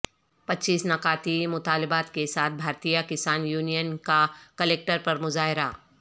پچیس نکاتی مطالبات کے ساتھ بھارتیہ کسان یونین کا کلکٹریٹ پر مظاہرہ